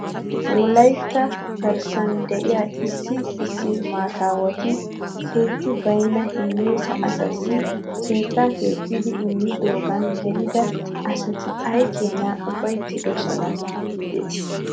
Wolaytta garssan de'iyaa issi issi maataawati keetti baynna hiyeesa asaassi keettaa keexxidi immidoogan gelida asati ay keenaa ufayttidosona giidetii .